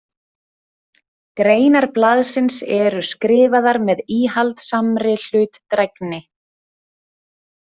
Greinar blaðsins eru skrifaðar með íhaldssamri hlutdrægni.